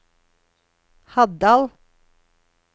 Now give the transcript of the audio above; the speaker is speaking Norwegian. Haddal